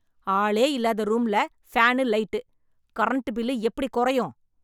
ஆளே இல்லாத ரூம்ல ஃபேன், லைட். கரண்ட் பில் எப்படி குறையும்?